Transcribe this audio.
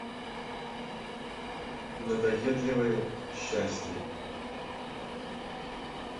надоедливое счастье